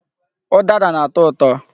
Ụdara na-atọ ụtọ.